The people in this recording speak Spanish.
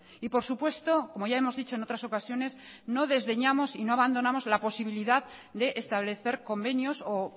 y por supuesto como ya hemos dicho en otras ocasiones no desdeñamos y no abandonamos la posibilidad de establecer convenios o